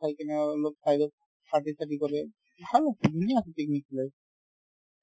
চাই কিনে আৰু অলপ side ত কৰে ভাল আছে ধুনীয়া আছে picnic place